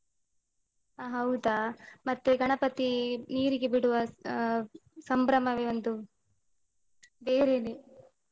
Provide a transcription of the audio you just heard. ಅ ಹೌದಾ? ಮತ್ತೆ ಗಣಪತಿ ನೀರಿಗೆ ಬಿಡುವ ಅ ಸಂಭ್ರಮವೆ ಒಂದು ಬೇರೆನೆ.